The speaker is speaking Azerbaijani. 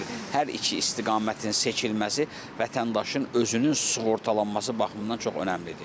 Hər iki istiqamətin seçilməsi vətəndaşın özünün sığortalanması baxımından çox önəmlidir.